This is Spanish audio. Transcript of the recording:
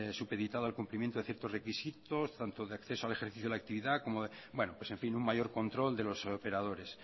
supeditado al cumplimiento de ciertos requisitos tanto de acceso al ejercicio de la actividad pues en fin un mayor control de los operadores